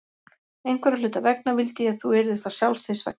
Einhverra hluta vegna vildi ég þú yrðir það sjálfs þín vegna.